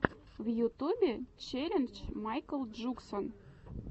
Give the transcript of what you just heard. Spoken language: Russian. в ютубе челлендж майкл джуксон